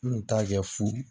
N kun t'a kɛ fu